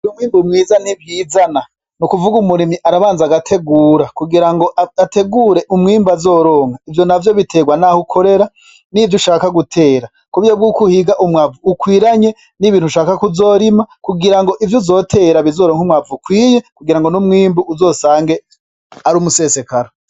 Umwimbu mwiza ntivyizana, ni kuvuga umurimyi arabanza agategura kugira ngo ategure umwimbu azoronka, ivyo navyo biterwa naho ukorera nivyo ushaka gutera kuburyo bwuko uhiga umwavu ukwiranye nivyo ushaka kuzorima kugira ngo ivyo uzotera bizoronke umwavu ukwiye n'umwimbu uzosange ari umusesekara.